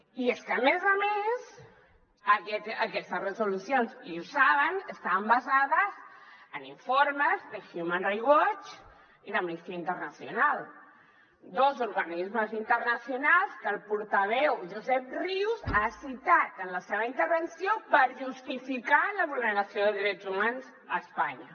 i és que a més a més aquestes resolucions i ho saben estaven basades en informes de human rights watch i d’amnistia internacional dos organismes internacionals que el portaveu josep rius ha citat en la seva intervenció per justificar la vulneració de drets humans a espanya